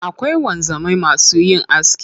Akwai wanzamai masu yin aski.